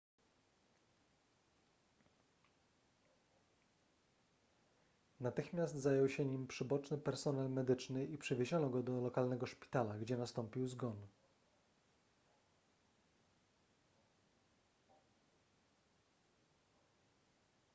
natychmiast zajął się nim przyboczny personel medyczny i przewieziono go do lokalnego szpitala gdzie nastąpił zgon